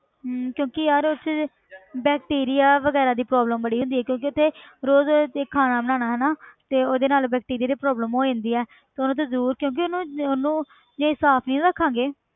ਹਮ ਕਿਉਂਕਿ ਯਾਰ ਉੱਥੇ ਜੇ bacteria ਵਗ਼ੈਰਾ ਦੀ problem ਬੜੀ ਹੁੰਦੀ ਆ ਕਿਉਂਕਿ ਉੱਥੇ ਰੋਜ਼ ਰੋਜ਼ ਦੇਖ ਖਾਣਾ ਬਣਾਉਣਾ ਹਨਾ ਤੇ ਉਹਦੇ ਨਾਲ bacteria ਦੀ problem ਹੋ ਜਾਂਦੀ ਹੈ ਤੇ ਉਹਨੂੰ ਤੇ ਜ਼ਰੂਰ ਕਿਉਂਕਿ ਉਹਨੂੰ ਉਹਨੂੰ ਜੇ ਸਾਫ਼ ਨਹੀਂ ਰੱਖਾਂਗੇ,